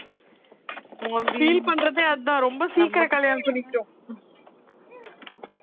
feel பண்றதே அதுதான் ரொம்ப சீக்கிரம் கல்யாணத்துல நிக்கும்